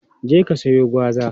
Je ka siyo gwaza!